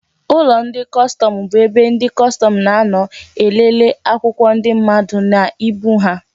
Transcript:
Ụlọ ndị kọstọmụ bu ebe ndị kọstọmụ na-anọ elele akwụkwọ ndị mmadụ na ibu ha